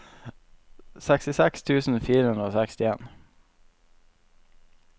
sekstiseks tusen fire hundre og sekstien